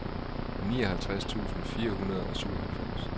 nioghalvtreds tusind fire hundrede og syvoghalvfems